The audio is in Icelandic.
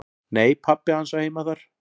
"""Nei, pabbi hans á heima þar."""